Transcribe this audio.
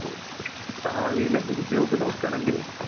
ഭാവിയിൽ എന്തെകിലും job നോക്കുകയാണെങ്കിലും